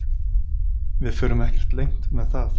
Við förum ekkert leynt með það